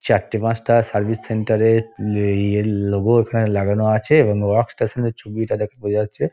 চারটে পাঁচটা service centre -এর ইয়ের লোগো এখানে লাগানো আছে এবং ওয়ার্ক স্টেশন -এর ছবিটা দেখে বোঝা যাচ্ছে।